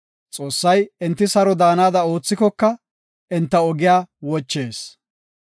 Xoossay enti saro daanada oothikoka, enta ogiya wochees.